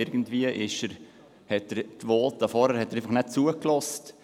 Irgendwie hat er den vorhergehenden Voten nicht zugehört.